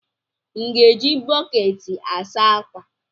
M ga-eji bọkeeti a saa ákwà?